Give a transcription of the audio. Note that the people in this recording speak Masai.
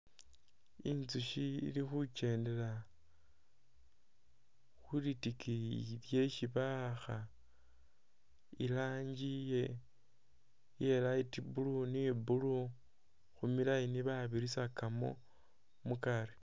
Inzushi ili khukendela khulitikiyi lyeesi bawaakha i'lanji iye light blue ni blue khumilayini babirisakamo mukaari